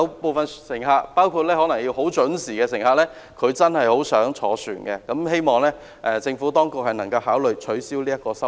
部分乘客，包括需要很準時的乘客，真的很想乘船，希望政府當局能夠考慮取消有關收費。